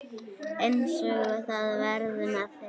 Eins verði það með mig.